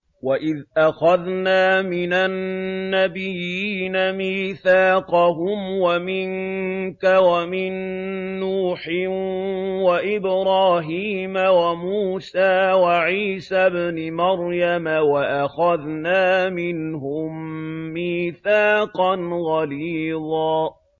وَإِذْ أَخَذْنَا مِنَ النَّبِيِّينَ مِيثَاقَهُمْ وَمِنكَ وَمِن نُّوحٍ وَإِبْرَاهِيمَ وَمُوسَىٰ وَعِيسَى ابْنِ مَرْيَمَ ۖ وَأَخَذْنَا مِنْهُم مِّيثَاقًا غَلِيظًا